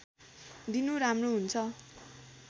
दिनु राम्रो हुन्छ